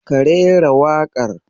Ka rera waƙar.